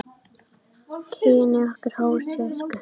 Kynni okkar hófust í æsku.